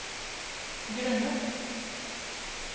grunnet